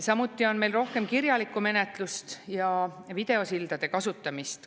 Samuti on meil rohkem kirjalikku menetlust ja videosildade kasutamist.